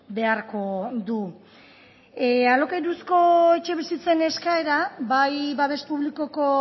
beharko du alokairuzko etxebizitzen eskaera bai babes publikoko